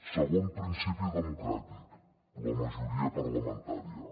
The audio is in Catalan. segon principi democràtic la majoria parlamentària